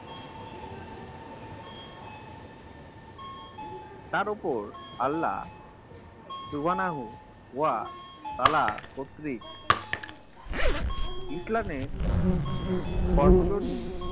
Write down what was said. তার ওপর আল্লাহ উহানাহু ওয়া তালা কর্তৃক ইসলামের সর্বজনীন